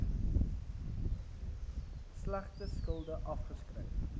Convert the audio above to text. slegte skulde afgeskryf